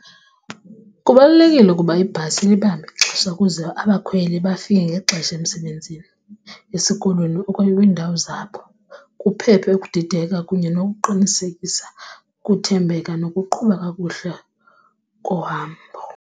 Kubalulekile ukuba ibhasi ilibambe ixesha ukuze abakhweli bafike ngexesha emsebenzini, esikolweni okanye kwiindawo zabo kuphephe ukudideka kunye nokuqinisekisa ukuthembeka nokuqhuba kakuhle kohambo.